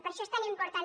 per això és tan important